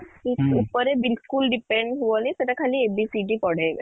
ଉପରେ ବିଲକୁଲ depend ହୁଅନି ସେଟା ଖାଲି ABCD ପଢ଼େଇବେ